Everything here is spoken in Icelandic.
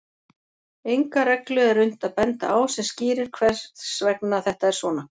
Enga reglu er unnt að benda á sem skýrir hvers vegna þetta er svona.